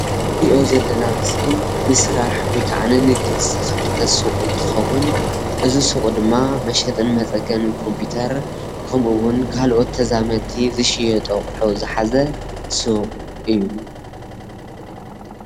እዚ ንሪኦ ዘለና ምስሊ ንስራሕ ወይ ኻዓ ንንግዲ ዝተኸፈተ ሱቕ እንትኸውን እዚ ሱቕ ድማ መሸጥን መፀገንን ኮምፒተር ከምኡ እውን ካልኦት ተዛመድቲ ዝሽየጡ ኣቑሑ ዝሓዘ ሱቕ እዩ።